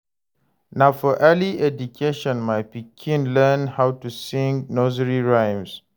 Na for early education my pikin learn how to sing nursery rhymes.